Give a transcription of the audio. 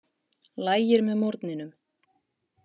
Lægir með morgninum